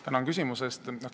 Tänan küsimuse eest!